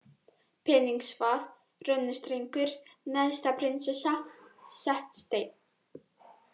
Peningsvað, Rönnustrengur, Neðsta-Prinsessa, Setsteinn